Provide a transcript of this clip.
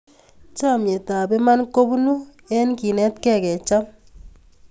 Chamyetap iman kopunu eng kenetkei kecham